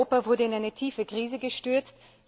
Ganz Europa wurde in eine tiefe Krise gestürzt.